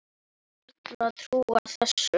Ég gat vart trúað þessu.